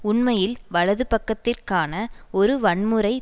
உண்மையில் வலதுபக்கத்திற்கான ஒரு வன்முறை